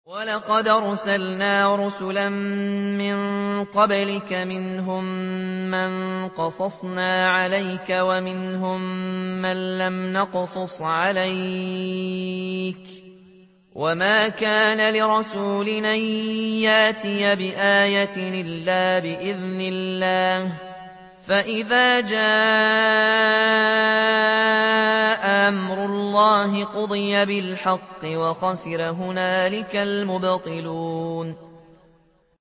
وَلَقَدْ أَرْسَلْنَا رُسُلًا مِّن قَبْلِكَ مِنْهُم مَّن قَصَصْنَا عَلَيْكَ وَمِنْهُم مَّن لَّمْ نَقْصُصْ عَلَيْكَ ۗ وَمَا كَانَ لِرَسُولٍ أَن يَأْتِيَ بِآيَةٍ إِلَّا بِإِذْنِ اللَّهِ ۚ فَإِذَا جَاءَ أَمْرُ اللَّهِ قُضِيَ بِالْحَقِّ وَخَسِرَ هُنَالِكَ الْمُبْطِلُونَ